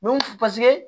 paseke